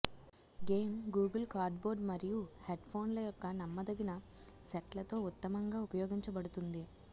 game Google cardboard మరియు హెడ్ ఫోన్ల యొక్క నమ్మదగిన సెట్లతో ఉత్తమంగా ఉపయోగించబడుతుంది